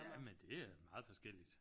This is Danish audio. Jamen det er meget forskelligt